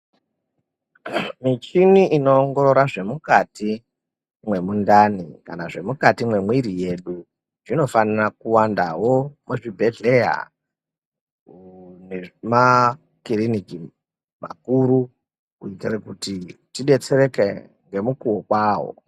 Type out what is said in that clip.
Michini ino ongorora zvemukati memundani kana kuti zvemukati memuiri medu, zvinofanira kuwandawo muzvibhedhleya nemakiriniki makuru kuitira kuti tidetsereke nemukuwo kwawo.